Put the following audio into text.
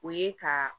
O ye ka